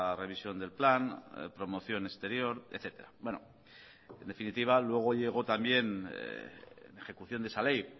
revisión del plan promoción exterior etcétera en definitiva luego llegó también en ejecución de esa ley